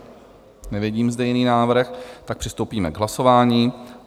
Nevidím zde jiný návrh, tak přistoupíme k hlasování.